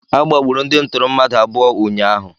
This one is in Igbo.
Agbagburu ndị ntụrụ mmadụ abụọ ụnyaahụ.